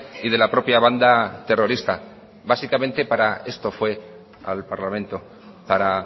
y de la propia banda terrorista básicamente para esto fue al parlamento para